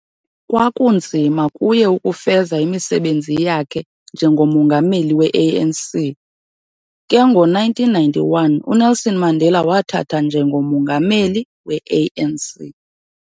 Kwakunzima kuye ukufeza imisebenzi yakhe njengo-Mongameli we-ANC, ke ngo-1991 uNelson Mandela wathatha njengo-Mongameli we-ANC.